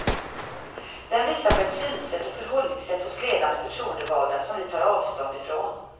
Den visar på ett synsätt och förhållningssätt hos ledande förtroendevalda som vi tar avstånd ifrån.